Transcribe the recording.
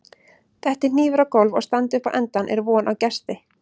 detti hnífur á gólf og standi upp á endann er von á gesti